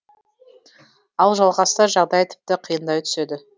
ал жалғасса жағдай тіпті қиындай түседі